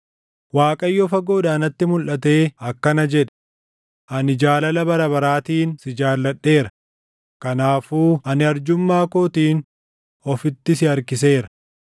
Waaqayyo fagoodhaa natti mulʼatee akkana jedhe: “Ani jaalala bara baraatiin si jaalladheera; kanaafuu ani arjummaa kootiin ofitti si harkiseera.